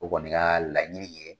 O kɔni ka laɲini ye